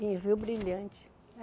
Em Rio Brilhante.